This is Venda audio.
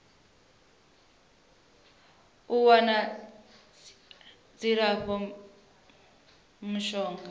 u wana dzilafho la mishonga